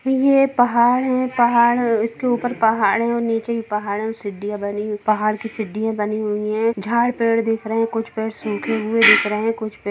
ये पहाड़ है --पहाड़ -- ड़ इसके ऊपर पहाड़ हैं और नीचे भी पहाड़ है और सीढ़िया बनी हुई है और झाड़ पेड़ दिख रहे हैं पहाड़ की सीढ़िया बनी हुई है झाड़ पेड़ दिख रहें है कुछ पेड़ सूखे हुए दिख रहें हैं कुछ पेड़ --ड़--